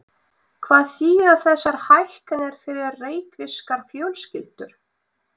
Hvað þýða þessar hækkanir fyrir reykvískar fjölskyldur?